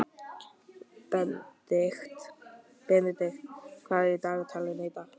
Benedikt, hvað er í dagatalinu í dag?